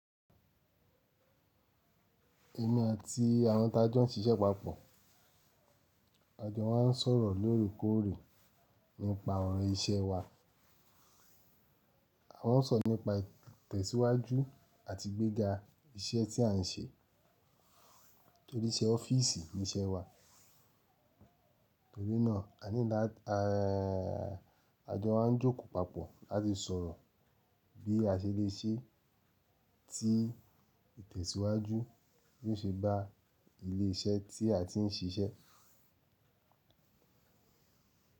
Èmi àti àwọn tájọ̀ ń ṣiṣẹ́ papọ̀. A jọ máa ń sọ̀rọ̀ lóòrèkóòrè nípa ọ̀rọ̀ iṣẹ́ wa. A máa ń sọ̀rọ̀ nípa ìtẹ̀síwájú àti igbéga iṣẹ́ tí à ń ṣe torí iṣẹ́ ọ́fíìsì ni iṣẹ́ wa. Torí náà, a jọ máa ń jókòó papọ̀ láti sọ̀rọ̀ bí a ṣe lè ṣe tí ìtẹ̀síwájú Bi o ṣe bá ilé iṣẹ́ tí a ti ń ṣiṣẹ́.